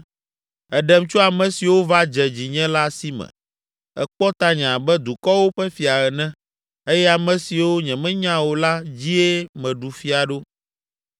“Èɖem tso ame siwo va dze dzinye la si me, èkpɔ tanye abe dukɔwo ƒe fia ene; eye ame siwo nyemenya o la dzie meɖu fia ɖo.